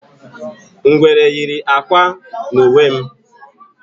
Ngwere yiri ákwà n'uwe m